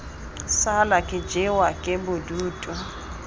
sala ke jewa ke bodutu